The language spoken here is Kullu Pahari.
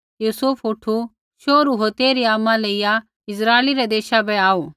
यूसुफ उठु शोहरू होर तेइरी आमा लेइया इस्राइलै रै देशा बै आऊ